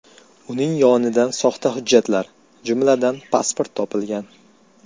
Uning yonidan soxta hujjatlar, jumladan, pasport topilgan.